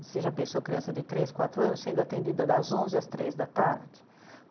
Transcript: Você já pensou criança de três, quatro anos sendo atendida das onze às três da tarde?